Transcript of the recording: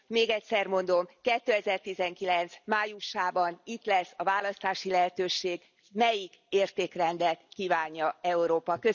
Még egyszer mondom 2019 májusában itt lesz a választási lehetőség, melyik értékrendet kívánja Európa.